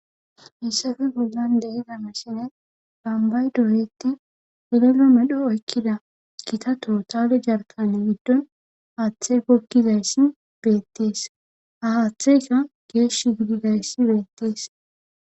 hayssafe bollan de'iza misilen bambay doyetti polelo medho okkida kitato taale jarkan giddon haaththe gokkizayssi beettees ahaaththeyka geesh gididayssi beettees